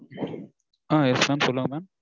ஆஹ் yes mam சொல்லுங்க mam